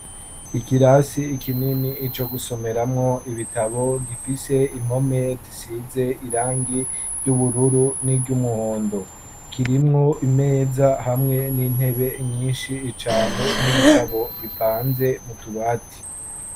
Ikirasi ikinini ico gusomeramwo ibitabo gifise impome zisize irangi ry'ubururu n'iryumwondo kirimwo imeza hamwe n'intebe nyinshi icane n'ibitabo bipanze mutubati.